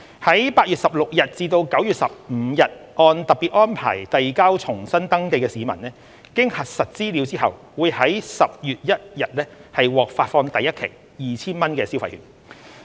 在8月16日至9月15日按特別安排遞交重新登記的市民，經核實資格後會於10月1日獲發放第一期 2,000 元消費券。